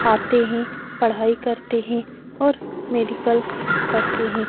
आते है पढ़ाई करते है और मेडिकल करते है ।